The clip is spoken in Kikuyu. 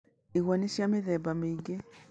Igwa nĩ cia mĩthemba mĩingĩ.